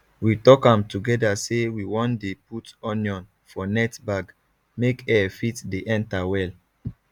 we talk am together say we wan dey put onion for net bag make air fit dey enter well